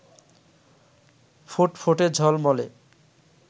ফুটফুটে ঝলমলে